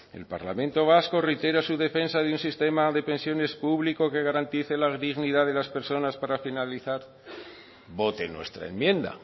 el parlamento vasco reitera su defensa de un sistema de pensiones público que garantice la dignidad de las personas para finalizar voten nuestra enmienda